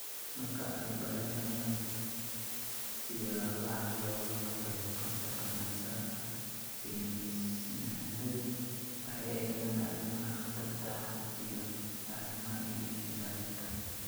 Marka ay baranayaan siyaabaha looga hortago kansarka naasaha, saynisyahannadu waxay eegaan arrimaha khatarta ah iyo arrimaha ilaalinta.